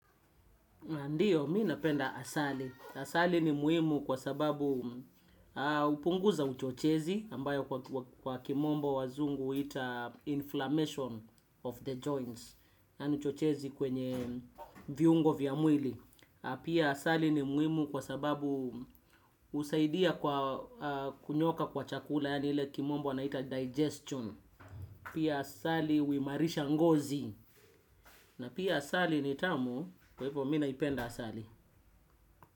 Ndiyo, mimi napenda asali. Asali ni muhimu kwa sababu hupunguza uchochezi ambayo kwa kimombo wazungu huita inflammation of the joints. N ni uchochezi kwenye viungo vya mwili. Pia asali ni muhimu kwa sababu husaidia kwa kunyooka kwa chakula, yaani ile kimombo wanaita digestion. Pia asali huimarisha ngozi. Pia asali ni tamu, kwa hivyo mimi naipenda asali.